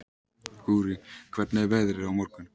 Gurrí, hvernig er veðrið á morgun?